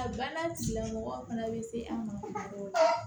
A ba na tigilamɔgɔ fana bɛ se an ma kuma dɔw la